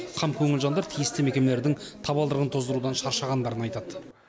қамкөңіл жандар тиісті мекемелердің табалдырығын тоздырудан шаршағандарын айтады